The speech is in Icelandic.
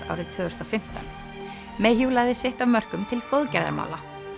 árið tvö þúsund og fimmtán lagði sitt af mörkum til góðgerðarmála